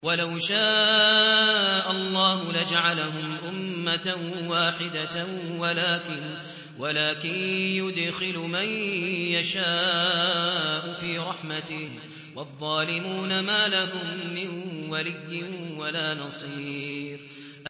وَلَوْ شَاءَ اللَّهُ لَجَعَلَهُمْ أُمَّةً وَاحِدَةً وَلَٰكِن يُدْخِلُ مَن يَشَاءُ فِي رَحْمَتِهِ ۚ وَالظَّالِمُونَ مَا لَهُم مِّن وَلِيٍّ وَلَا نَصِيرٍ